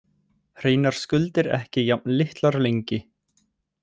Hreinar skuldir ekki jafn litlar lengi